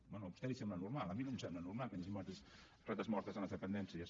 bé a vostè li sembla normal a mi no em sembla normal que hi hagi rates mortes en les dependències